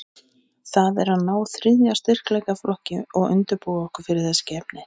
Það er að ná þriðja styrkleikaflokki og undirbúa okkur fyrir þessi keppni.